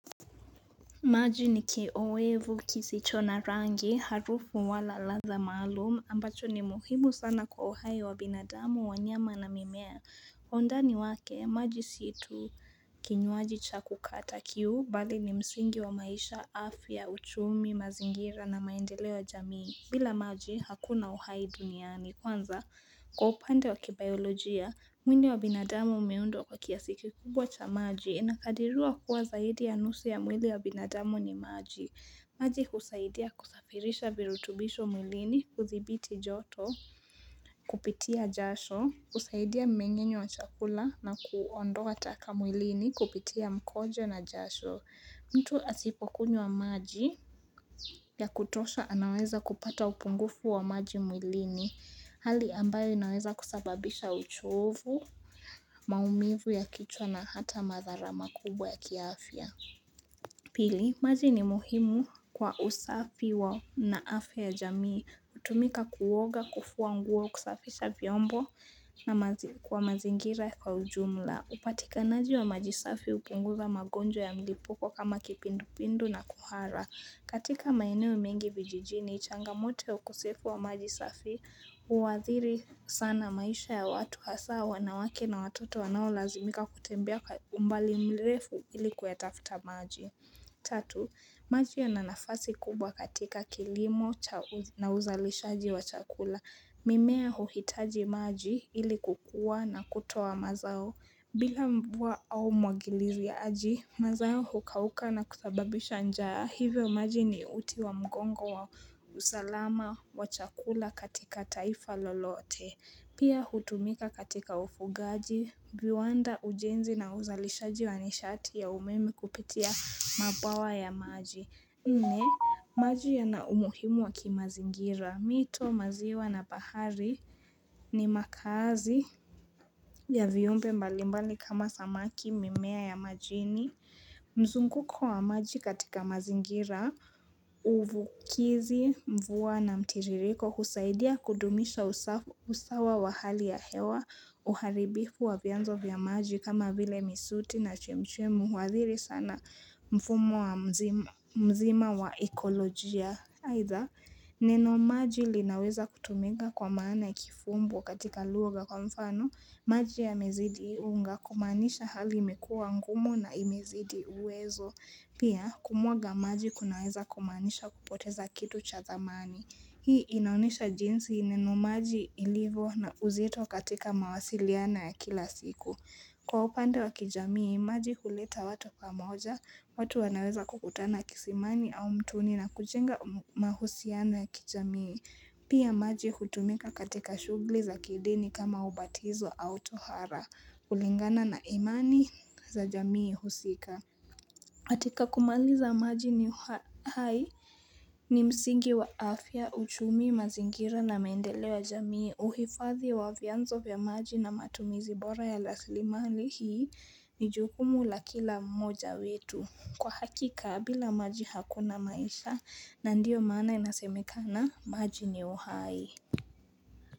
Maji ni kiowevu kisichona rangi harufu wala ladha maalumu ambacho ni muhimu sana kwa uhaye wa binadamu wanyama na mimea. Ondani wake maji situ kinyuaji cha kukata kiu bali ni msingi wa maisha afya uchumi mazingira na maendelewa jamii. Bila maji hakuna uhai duniani kwanza kwa opande waki biolojia mwini wa binadamu umeundo kwa kiasiki kubwa cha maji inakadirua kuwa zaidi ya nusi ya mwili wa binadamu ni maji maji kusaidia kusafirisha virutubisho mwilini kuthibiti joto kupitia jasho kusaidia mengenye wa chakula na kuondoka taka mwilini kupitia mkojo na jasho mtu asipokunyo wa maji ya kutosha anaweza kupata upungufu wa maji mwilini hali ambayo inaweza kusababisha uchovu, maumivu ya kichwa na hata madhara makubwa ya kiaafia. Pili, maji ni muhimu kwa usafi wa naafe ya jamii kutumika kuwoga kufu wa nguo kusafisha vyombo na kwa mazingira kwa ujumla. Upatika naji wa majisafi upunguza magonjo ya milipoko kama kipindu pindu na kuhara. Katika maineo mingi vijijini, changamote ukusefu wa majisafi, uwadhiri sana maisha ya watu hasa wanawake na watoto wanao lazimika kutembea umbali mlefu ilikuetafta maji. Tatu, maji ya nanafasi kubwa katika kilimo na uzalishaji wa chakula. Mimea uhitaji maji ilikuwa na kutuwa mazao. Bila mbua au mwagiliri ya aji, mazayo hukauka na kutababisha njaa. Hivyo maji ni uti wa mgongo wa uzalama wa chakula katika taifa lolote. Pia hutumika katika ufugaji, viwanda ujenzi na uzalishaji wa nishati ya umeme kupitia mabawa ya maji. Nne, maji yana umuhimu wa kimazingira, mito, maziwa na bahari ni makazi ya viyumpe mbalimbali kama samaki mimea ya majini. Mzunguko wa maji katika mazingira, uvukizi, mvua na mtiririko, kusaidia kudumisha usawa wa hali ya hewa, Uharibifu wa vianzo vya maji kama vile misuti na chemchemu Wadhiri sana mfumo wa mzima waekolojia Haitha, neno maji linaweza kutumenga kwa maana ikifumbu katika luoga kwa mfano maji ya mezidi unga kumanisha halimekua ngumo na imezidi uwezo Pia, kumwaga maji kunaweza kumanisha kupoteza kitu cha thamani hii inaunisha jinsi inenu maji ilivo na uzeto katika mawasiliana ya kila siku. Kwa upande wa kijamii, maji kuleta watu kwa moja, watu wanaweza kukutana kisimani au mtuni na kuchenga mahusiana ya kijamii. Pia maji kutumika katika shugli za kideni kama ubatizo au tohara, ulingana na imani za jamii husika. Hatika kumaliza maji ni uhai ni msingi wa afya, uchumi, mazingira na mendele wa jamii. Uhifadhi wa vianzo vya maji na matumizi bora ya laslimali hii ni jukumu la kila moja wetu. Kwa hakika, bila maji hakuna maisha na ndiyo maana inasemekana maji ni uhai.